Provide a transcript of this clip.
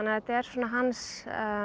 þetta er svona hans